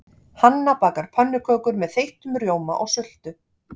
Hanna bakar pönnukökur með þeyttum rjóma og sultu.